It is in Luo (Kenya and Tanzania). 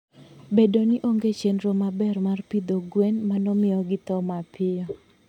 Bedo ni onge chenro maber mar pidho gwen, mano miyo githo mapiyo.